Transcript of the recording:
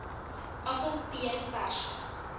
appel peer perske